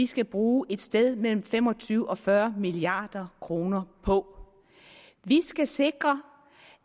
skal bruge et sted mellem fem og tyve og fyrre milliard kroner på vi skal sikre